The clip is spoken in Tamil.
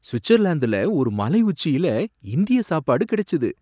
சுவிட்சர்லாந்துல ஒரு மலை உச்சியில இந்திய சாப்பாடு கிடைச்சது!